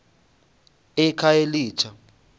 ekhayelitsha